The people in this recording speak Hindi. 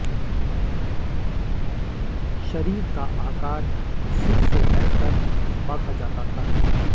शरीर का आकार सिर से पैर तक बढ़ा जाता था